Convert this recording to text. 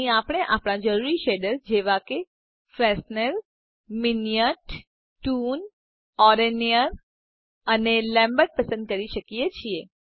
અહીં આપણે આપણા જરૂરી શેડર જેવા કે Fresnel Minnaert toon oren Nayar અને લેમ્બર્ટ પસંદ કરી શકીએ છે